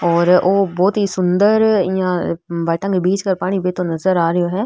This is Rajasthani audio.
और ओ बहोत ही सुन्दर इया भाटा के बीच सो पानी बहतो नजर आ रेहो है।